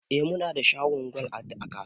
Eh, munada shagon gwal a kasuwa